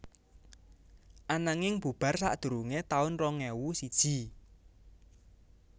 Ananging bubar sadurungé taun rong ewu siji